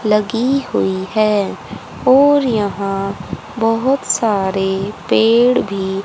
लगी हुई हैं और यहां बहुत सारे पेड़ भी --